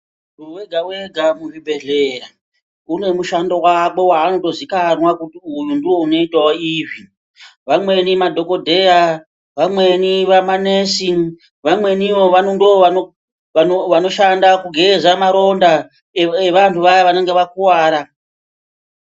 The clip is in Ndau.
Munhu wega-wega muzvibhehlera une mushando wake wanotozikanwa kuti uyu ndiye unoitawo izvi. Vamweni madhokodheya, vamweni manesi , vamwenivo ndovanoshanda kugeza maronda evanhu vaya vanenge vakuwara.